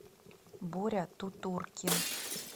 боря тутуркин